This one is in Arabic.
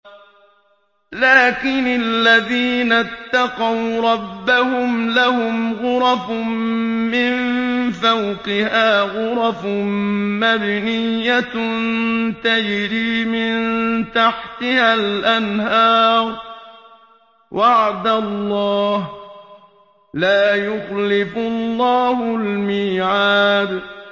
لَٰكِنِ الَّذِينَ اتَّقَوْا رَبَّهُمْ لَهُمْ غُرَفٌ مِّن فَوْقِهَا غُرَفٌ مَّبْنِيَّةٌ تَجْرِي مِن تَحْتِهَا الْأَنْهَارُ ۖ وَعْدَ اللَّهِ ۖ لَا يُخْلِفُ اللَّهُ الْمِيعَادَ